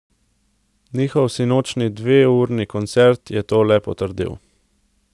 Njihov sinočnji dveurni koncert je to le potrdil.